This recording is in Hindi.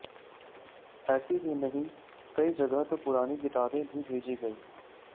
ऐसा ही नहीं कई जगह तो पुरानी किताबें भी भेजी गई